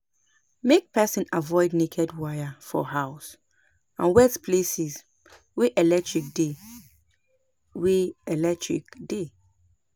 Make person avoid naked wire for house and wet places wey electric dey wey electric dey